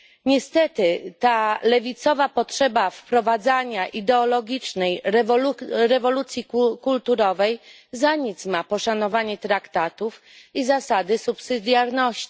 Niestety ta lewicowa potrzeba wprowadzania ideologicznej rewolucji kulturowej za nic ma poszanowanie traktatów i zasady pomocniczości.